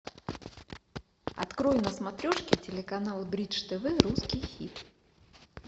открой на смотрешке телеканал бридж тв русский хит